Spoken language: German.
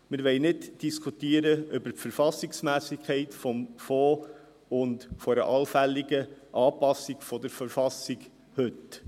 Wir wollen nicht über die Verfassungsmässigkeit des Fonds und über eine allfällige Anpassung der Verfassung diskutieren.